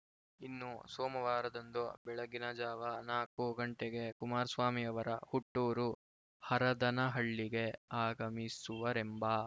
ಇನ್ನು ಸೋಮವಾರದಂದು ಬೆಳಗಿನ ಜಾವ ನಾಲ್ಕು ಗಂಟೆಗೆ ಕುಮಾರಸ್ವಾಮಿಯವರು ಹುಟ್ಟೂರು ಹರದನಹಳ್ಳಿಗೆ ಆಗಮಿಸುವರೆಂಬ